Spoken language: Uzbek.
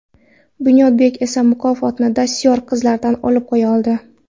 Bunyodbek esa mukofotni dastyor qizlardan olib qo‘ya qoldi.